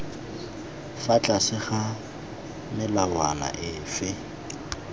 fa tlase ga melawana efe